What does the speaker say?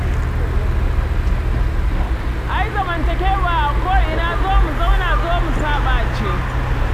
Ai zamantakewa a ko'ina "zo mu zauna zo mu saɓa" ce.